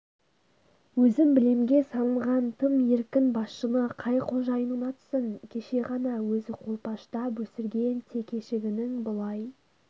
өзім білемге салынған тым еркін басшыны қай қожайын ұнатсын кеше ғана өзі қолпаштап өсірген текешігінің бұлай